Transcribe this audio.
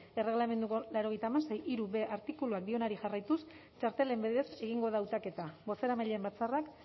erregelamenduko laurogeita hamasei puntu hirub artikuluak dioenari jarraituz txartelen bidez egingo da hautaketa bozeramaileen batzarrak